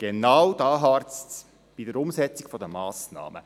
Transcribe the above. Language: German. Aber genau hier harzt es bei der Umsetzung der Massnahmen.